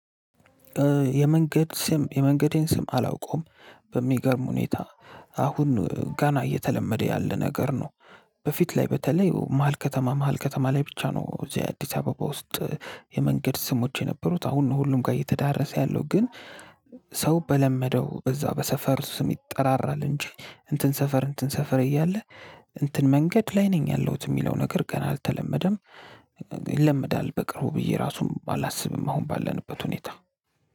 የመንገድ ስም የመንገዴን ስም አላውቀውም በሚገርም ሁኔታ አሁን ነው ገና እየተለመደ ያለ ነገር ነው። በፊት ላይ በተለይ መሃል ከተማ መሃል ከተማ ላይ ብቻ ነው እዚህ የአዲስ አበባ ውስጥ የመንገድ ስሞች የነበሩት አሁን ነው ሁሉም ጋር እየተዳረሰ ያለው ግን። ሰው በለመደው በዛ በሰፈሩ ስም ይጠራራል እንጂ እንትን ሰፈር እንትን ሰፈር እያለ እንትን መንገድ ላይ ነኝ ያለሁት የሚለው ነገር ገና አልተለመደም። ይለምዳል በቅርቡ ብዬ ራሱም አላስብም አሁን ባለንበት ሁኔታ።